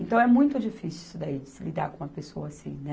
Então, é muito difícil isso daí, de se lidar com uma pessoa assim, né?